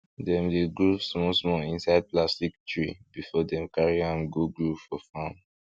dem dey grow small small inside plastic tray before dem carry am go grow for farm